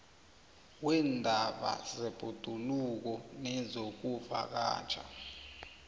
weendaba zebhoduluko nezokuvakatjha